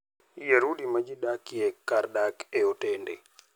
Yier udi ma ji dakie kar dak e otende.